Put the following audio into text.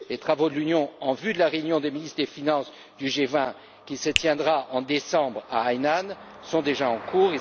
Les travaux de l'Union en vue de la réunion des ministres des finances du G20, qui se tiendra en décembre, à Hainan, sont déjà en cours.